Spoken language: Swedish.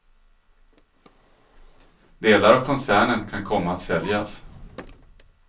Delar av koncernen kan komma att säljas.